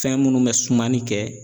Fɛn minnu bɛ sumani kɛ.